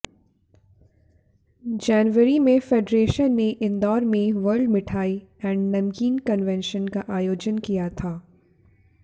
जनवरी में फेडरेशन ने इंदौर में world mithai and namkeen convention का आयोजन किया था